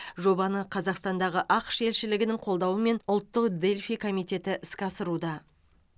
жобаны қазақстандағы ақш елшілігінің қолдауымен ұлттық дельфий комитеті іске асыруда